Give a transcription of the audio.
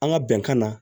An ka bɛnkan na